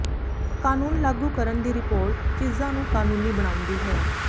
ਕਾਨੂੰਨ ਲਾਗੂ ਕਰਨ ਦੀ ਰਿਪੋਰਟ ਚੀਜ਼ਾਂ ਨੂੰ ਕਾਨੂੰਨੀ ਬਣਾਉਂਦੀ ਹੈ